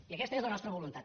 i aquesta és la nostra voluntat